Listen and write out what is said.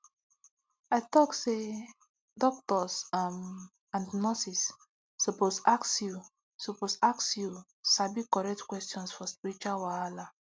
i talk say doctors um and nurses suppose ask you suppose ask you sabi correct questions for spiritual wahala